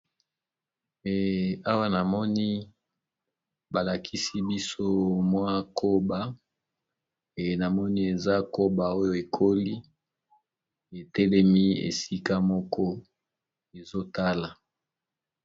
Awa na moni balakisi biso mwa koba e na moni eza koba oyo ekoli etelemi esika moko ezotala.